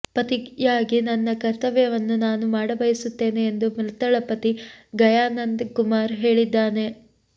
ಪತಿಯಾಗಿ ನನ್ನ ಕರ್ತವ್ಯವನ್ನು ನಾನು ಮಾಡಬಯಸುತ್ತೇನೆ ಎಂದು ಮೃತಳ ಪತಿ ಗಯಾನಂದ ಕುಮಾರ್ ಹೇಳಿದ್ದಾನೆ